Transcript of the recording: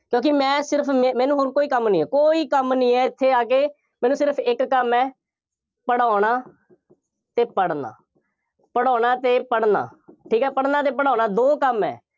ਕਿਉਂਕਿ ਮੈਂ ਸਿਰਫ, ਮੈ ਮੈਨੂੰ ਹੋਰ ਕੋਈ ਕੰਮ ਨਹੀਂ ਹੈ, ਕੋਈ ਕੰਮ ਨਹੀਂ ਹੈ, ਇੱਥੇ ਆ ਕੇ ਮੈਨੂੰ ਸਿਰਫ ਇੱਕ ਕੰਮ ਹੈ, ਪੜ੍ਹਾਉਣਾ ਅਤੇ ਪੜ੍ਹਣਾ ਪੜ੍ਹਾਉਣਾ ਅਤੇ ਪੜ੍ਹਣਾ, ਠੀਕ ਹੈ, ਪੜ੍ਹਣਾ ਅਤੇ ਪੜ੍ਹਾਉਣਾ ਦੋ ਕੰਮ ਹੈ,